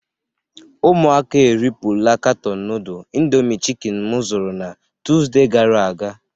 Ụmụaka a eripula katọọnụ nudl indomi chikin m zụrụ na Tuuzde gara aga.